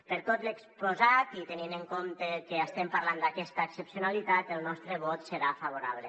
per tot l’exposat i tenint en compte que estem parlant d’aquesta excepcionalitat el nostre vot serà favorable